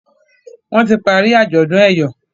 Wón tí parí ajọdun eyọ